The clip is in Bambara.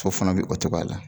Muso fana bɛ o cogoya la.